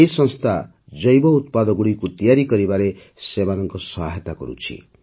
ଏହି ସଂସ୍ଥା ଜୈବ ଉତ୍ପାଦଗୁଡ଼ିକୁ ତିଆରି କରିବାରେ ସେମାନଙ୍କ ସହାୟତା କରୁଛି